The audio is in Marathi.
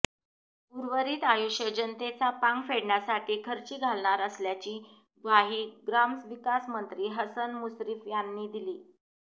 उर्वरित आयुष्य जनतेचा पांग फेडण्यासाठी खर्ची घालणार असल्याची ग्वाही ग्रामविकास मंत्री हसन मुश्रीफ यांनी दिली